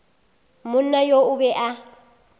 monna yo o be a